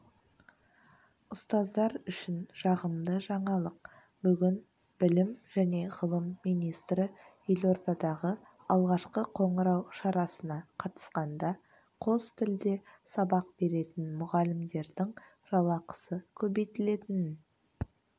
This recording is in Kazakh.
ұстаздар үшін жағымды жаңалық бүгін білім және ғылым министрі елордадағы алғашқы қоңырау шарасына қатысқанда қос тілде сабақ беретін мұғалімдердің жалақысы көбейтілетінін